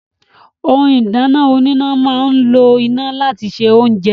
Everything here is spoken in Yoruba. Ohun ìdáná oníná máa ń lo iná láti se oúnjẹ